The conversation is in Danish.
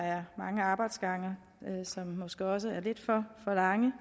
er mange arbejdsgange som måske også er lidt for lange